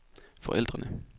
forældrene